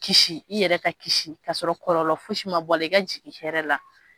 Kisi i yɛrɛ ka kisi kasɔrɔ kɔlɔlɔ fosi ma bɔ a la i ka jigin hɛrɛ la